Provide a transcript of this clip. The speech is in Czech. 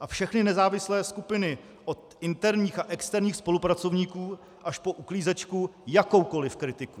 a všechny nezávislé skupiny od interních a externích spolupracovníků až po uklízečku jakoukoliv kritiku.